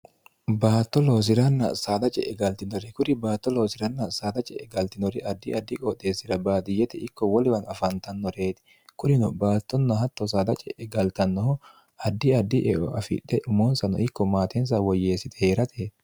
baatto loosiranna saada ce'e galtinore kuri baatto loosiranna saada ce'e galtinori addi addi qooxeessira baadiyyete ikko woliwano afaantannoreeti kurino baattonno hatto saada ce'e galtannoho addi addi eo afidhe umoonsano ikko maatensa woyyeessite heeratet